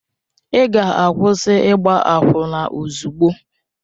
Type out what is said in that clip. Ị ga-akwụsị ịgba akwụna ozugbo!